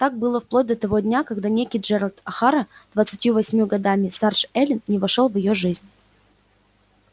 так было вплоть до того дня когда некий джералд охара двадцатью восемью годами старше эллин не вошёл в её жизнь